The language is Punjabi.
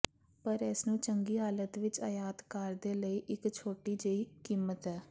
ਪਰ ਇਸ ਨੂੰ ਚੰਗੀ ਹਾਲਤ ਵਿੱਚ ਆਯਾਤ ਕਾਰ ਦੇ ਲਈ ਇੱਕ ਛੋਟੀ ਜਿਹੀ ਕੀਮਤ ਹੈ